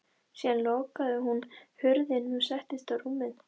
Síðan lokaði hún hurðinni og settist á rúmið.